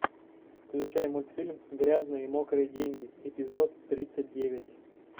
включай мультфильм грязные и мокрые деньги эпизод тридцать девять